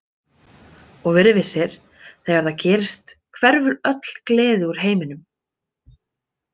Og verið vissir, þegar það gerist hverfur öll gleði úr heiminum.